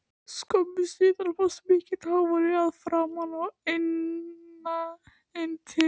Skömmu síðar barst mikill hávaði að framan og inn til